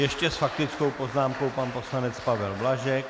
Ještě s faktickou poznámkou pan poslanec Pavel Blažek.